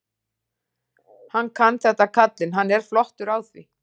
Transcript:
Hann kann þetta kallinn, hann er flottur á því.